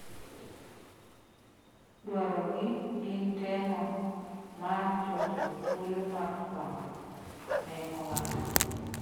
"Dwaro gi gin temo mar chocho thuolo mar fwambo," ne owacho.